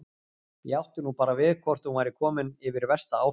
Ég átti nú bara við hvort hún væri komin yfir versta áfallið.